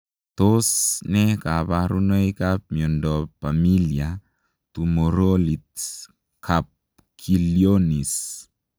Tos ne kabarunoik ap miondop Pamilia tumorolit kapkilionis?